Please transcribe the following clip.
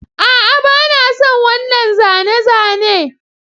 A'a ba na son wannan zane-zane